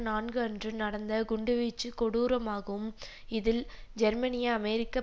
நான்கு அன்று நடந்த குண்டுவீச்சுக் கொடூரமாகும் இதில் ஜெர்மனிய அமெரிக்க